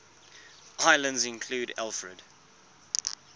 islands included alfred